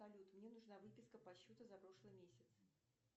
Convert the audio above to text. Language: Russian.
салют мне нужна выписка по счету за прошлый месяц